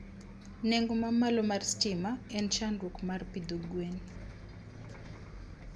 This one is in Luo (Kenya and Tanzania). Nengo ma malo mar stima en chandruok mar pidho gwen